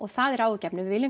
það er áhyggjuefni við viljum